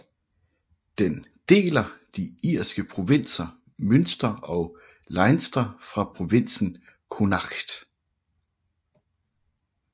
Den deler de irske provinser Munster og Leinster fra provinsen Connacht